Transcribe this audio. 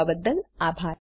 જોડાવા બદ્દલ આભાર